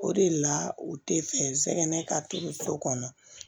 O de la u tɛ fɛ n sɛgɛrɛ ka to kɔnɔ